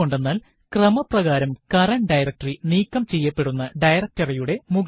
എന്തുകൊണ്ടെന്നാൽ ക്രമപ്രകാരം current directory നീക്കം ചെയ്യപ്പെടെണ്ടുന്ന directory യുടെ മുകളിലല്ല